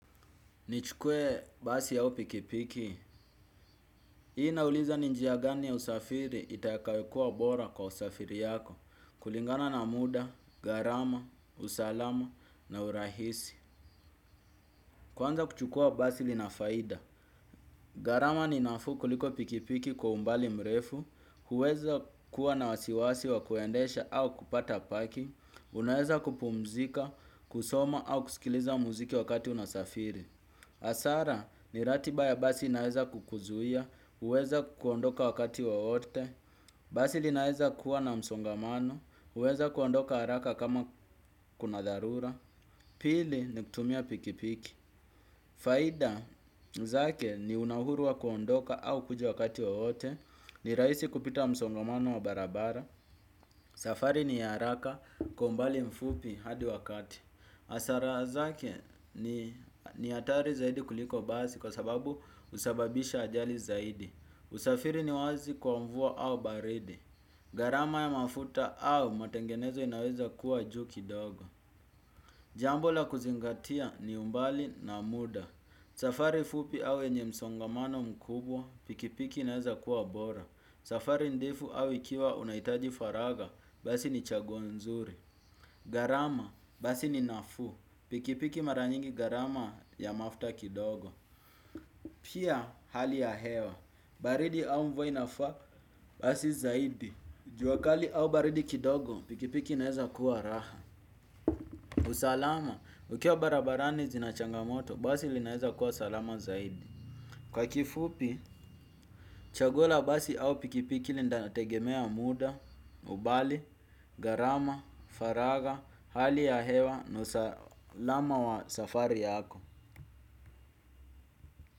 Nichukue basi yao pikipiki. Hii nauliza ninjia gani ya usafiri itakawekua bora kwa usafiri yako. Sdsd. Kwanza kuchukua basi lina faida. Gharama ni nafuu kuliko pikipiki kwa umbali mrefu. Huweza kuwa na wasiwasi wa kuendesha au kupata parking. Unaeza kupumzika, kusoma au kusikiliza muziki wakati unasafiri. Hasara ni ratiba ya basi inaeza kukuzuia huweza kuondoka wakati wowote. Basi linaeza kuwa na msongamano huweza kuondoka haraka kama kuna dharura. Pili ni kutumia pikipiki. Faida zake ni una uhuru wa kuondoka au kuja wakati wowote. Ni rahisi kupita msongamano wa barabara. Safari ni haraka kwa umbali mfupi hadi wakati. Hasara zake ni hatari zaidi kuliko basi kwa sababu husababisha ajali zaidi. Usafiri ni wazi kwa mvua au baridi. Gharama ya mafuta au matengenezo inaweza kuwa juu kidogo. Jambo la kuzingatia ni umbali na muda. Safari fupi au yenye msongamano mkubwa pikipiki inaweza kuwa bora. Safari ndefu au ikiwa unahitaji faraga basi ni chaguo nzuri. Gharama, basi ni nafuu, pikipiki mara nyingi gharama ya mafuta kidogo. Pia hali ya hewa. Baridi au mvua inafaa basi zaidi. Jua kali au baridi kidogo pikipiki inaeza kuwa raha. Usalama, ukiwa barabarani zina changamoto, basi linaeza kuwa salama zaidi. Kwa kifupi, chaguo la basi au pikipiki linategemea muda, umbali, gharama, faraga, hali ya hewa, na usalama wa safari yako.